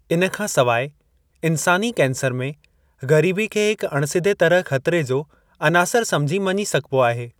हिन खां सवाइ, इन्सानी कैंसर में ग़रीबी खे हिकु अणिसिधे तरह ख़तरे जो अनासरु समुझी मञी सघिबो आहे ।